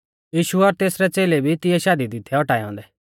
यीशु और तेसरै च़ेलै भी तिऐ शादी दी थै औटाऐ औन्दै